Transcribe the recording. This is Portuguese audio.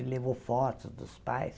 Ele levou fotos dos pais.